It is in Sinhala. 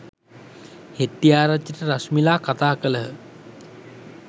හෙට්‌ටිආරච්චිට රශ්මිලා කතා කළහ.